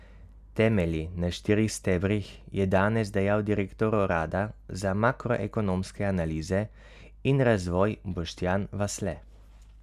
Temelji na štirih stebrih, je danes dejal direktor urada za makroekonomske analize in razvoj Boštjan Vasle.